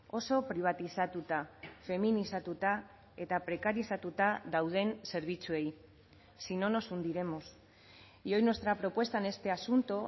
oso pribatizatuta feminizatuta eta prekarizatuta dauden zerbitzuei si no nos hundiremos y hoy nuestra propuesta en este asunto